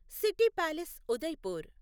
city palace Udaipur